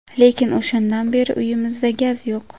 Lekin o‘shandan beri uyimizda gaz yo‘q.